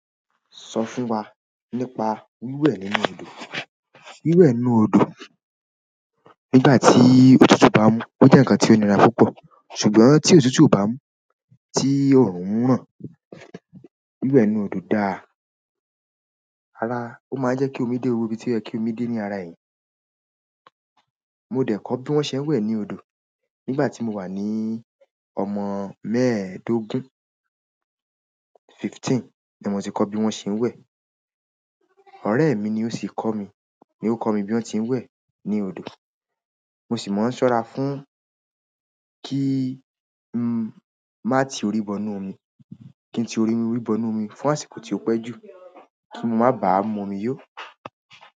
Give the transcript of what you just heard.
Sọ fún wa nípa wíwẹ̀ nínú odò. Wíwẹ̀ inú odo nígbà tí òtútù bá mú. Ó jẹ́ ǹnkan ti o nira púpọ̀. Ṣùgbọ́n tí òtútù o bá mú, tí oòrùn ń ràn, wíwẹ̀ inú odò dáa. Rárá, ó máa ń jẹ́ kí omi dé gbogbo ibi wó ibi toyẹ kì omi dé ní ara èèyàn. Mo dẹ̀ kọ́ bí wọ́n ṣe ń wẹ̀ ní odò nígbà tí mo wà ní ọmọ mẹ́ẹ̀ẹ́dógún, fifteen ni mo tí kọ́ bí wọ́n ṣe ń wẹ̀. Ọrẹ mi ni o si kọ mi, ni o kọ mi bi won se n wẹ ni odo mo sì máa ń ṣọ́ra fún kí n má ti orí bọ inú omi, kí n ti orí bọ inú omi fún àsìkò tí ó pẹ́ jù kí n má bàá mumi yó.